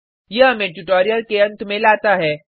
यह हमें ट्यूटोरियल के अंत में लाता है